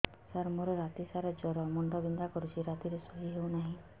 ସାର ମୋର ରାତି ସାରା ଜ୍ଵର ମୁଣ୍ଡ ବିନ୍ଧା କରୁଛି ରାତିରେ ଶୋଇ ହେଉ ନାହିଁ